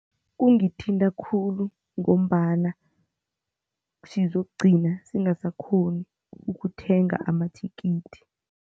Kungithinta khulu ngombana sizokugcina singasakghoni ukuthenga amathikithi.